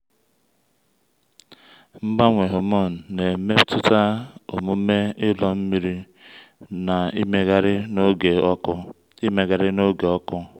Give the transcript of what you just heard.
mgbanwe hormone na-emetụta omume ilo nri na imegharị n’oge ọkụ. imegharị n’oge ọkụ.